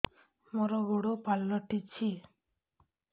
ମୋର ଗୋଡ଼ ପାଲଟିଛି